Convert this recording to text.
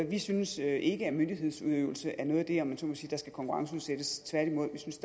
vi synes ikke at myndighedsudøvelse er noget af det der om man så må sige skal konkurrenceudsættes tværtimod synes